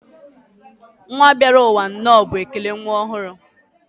nwa bịarụ ụwa nnọọ bụ ekele nwa ọhụrụ.